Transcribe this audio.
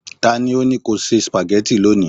ta ni o ni ko se spaghetti loni